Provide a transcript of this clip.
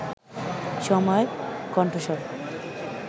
সময়ের কন্ঠস্বর